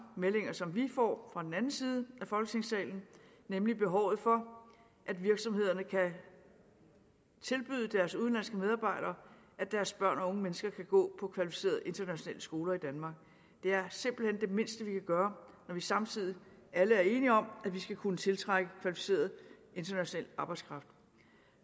meldinger som vi får fra den anden side af folketingssalen nemlig behovet for at virksomhederne kan tilbyde deres udenlandske medarbejdere at deres børn og unge mennesker kan gå på kvalificerede internationale skoler i danmark det er simpelt hen det mindste vi kan gøre når vi samtidig alle er enige om at vi skal kunne tiltrække kvalificeret international arbejdskraft